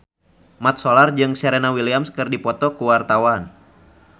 Mat Solar jeung Serena Williams keur dipoto ku wartawan